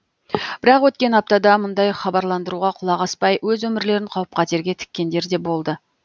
бірақ өткен аптада мұндай хабарландыруға құлақ аспай өз өмірлерін қауіп қатерге тіккендер де болды